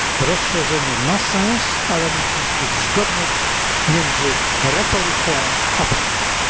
Rozszerzenie ma sens, ale musi istnieć zgodność między retoryką, a praktyką.